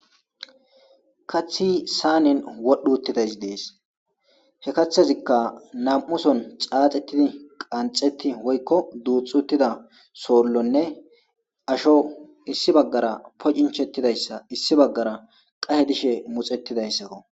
kathi saanin wodhu uttidays dees he kaththazikka nam7uson caaxettidi qanxeti woykko duuxxutida soollonne asho issi baggara pocinchettidayssa issi baggara qahe dishe muxettidayssakko